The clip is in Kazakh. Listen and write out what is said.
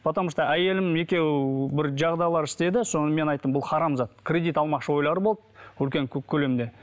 потому что әйелім екеуі бір жағдайлар істеді соны мен айттым бұл харам зат кредит алмақшы ойлары болды үлкен көп көлемде